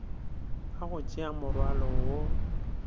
ka go tšea morwalo wo